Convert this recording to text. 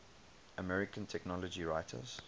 american technology writers